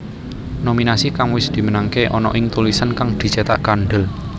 Nominasi kang wis dimenangké ana ing tulisan kang dicetak kandhel